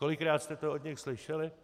Kolikrát jste to od nich slyšeli?